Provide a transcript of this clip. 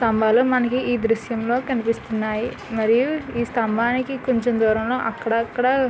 స్థంబాలు మనకి ఈ దృశ్యం లో కనిపిస్తున్నాయి. మరియు ఈ స్థంబానికి కొంచెం దూరంలో అక్కడక్కడ --